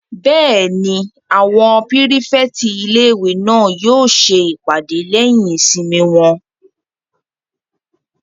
Bẹ́ẹ̀ni, àwọn pírífẹ̀tì ilé-ìwé náà yóò ṣe ìpàdé wọn lẹ́yìn ìsinmi wọn